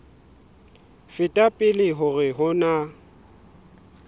feta pele hore ho na